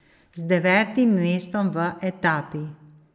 Z devetim mestom v etapi.